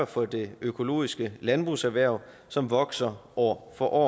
for det økologiske landbrugserhverv som vokser år for år